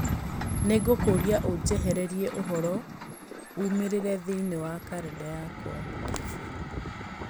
Nĩ ngũkũũria ũnjehererie ũhoro ũmĩrĩire thĩinĩ wa kalendarĩ yakwa